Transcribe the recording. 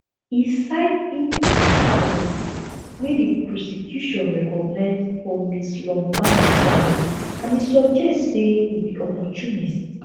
e cite inconsis ten cies wey di prosecution recognise for ms lombaard comment and e suggest say e be opportunist